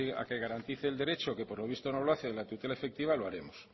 a que garantice el derecho que por lo visto no lo hace a la tutela efectiva lo haremos